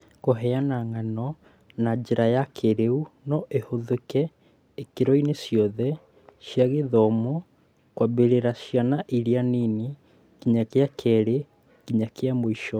Kũheana ng'ano na njĩra ya kĩĩrĩu no ihũthĩke ikĩro-inĩ ciothe cia gĩthomo kwambĩrĩria ciana irĩ nini nginya gĩa kerĩ nginya kĩa mũico